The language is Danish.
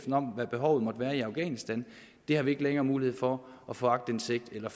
om hvad behovet måtte være i afghanistan det har vi ikke længere mulighed for at få aktindsigt i eller